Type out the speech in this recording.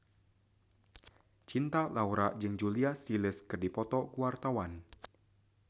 Cinta Laura jeung Julia Stiles keur dipoto ku wartawan